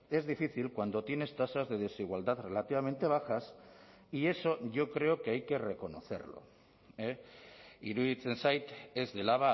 es difícil cuando tienes tasas de desigualdad relativamente bajas y eso yo creo que hay que reconocerlo iruditzen zait ez dela